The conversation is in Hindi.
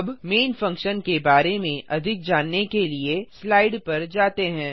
अब मैन फंक्शन के बारे में अधिक जानने के लिए स्लाइड पर जाते हैं